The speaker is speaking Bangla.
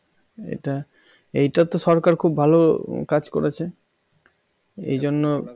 এটা এটাতো সরকার খুব ভালো কাজ করেছে এজন্য